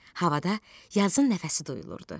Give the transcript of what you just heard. Havada yazın nəfəsi duyulurdu.